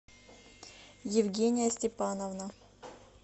евгения степановна